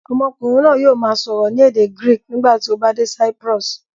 Ọmọkùnrin náà yóò máa sọ̀rọ̀ ní èdè Greek nígbà tí ó bá dé Cyprus.